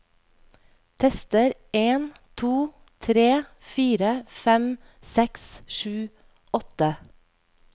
Tester en to tre fire fem seks sju åtte